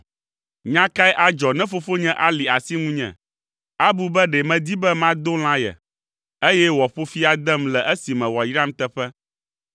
Nya kae adzɔ ne fofonye ali asi ŋunye? Abu be ɖe medi be mado lã ye, eye wòaƒo fi adem le esime wòayram teƒe!”